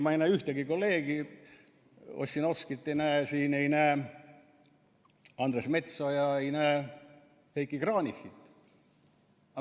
Ma ei näe ühtegi kolleegi, Ossinovskit ei näe siin, ei näe Andres Metsoja, ei näe Heiki Kranichit.